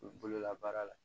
U bolola baara la